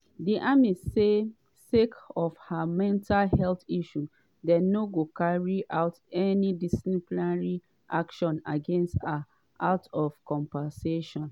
di army say sake of her mental health issue dem no go carry out any disciplinary action against her out of compassion.